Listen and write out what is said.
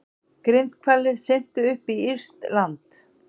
Grindhvalir syntu upp á írskt land